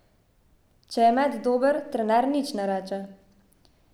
Če je met dober, trener nič ne reče.